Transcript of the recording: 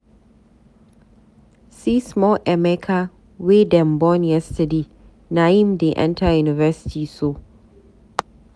See small Emeka wey dem born yesterday, naim dey enta university so!